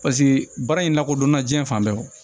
Paseke baara in lakodɔnna jiyɛn fan bɛɛ